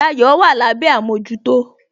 Dayo wà lábé àmójútó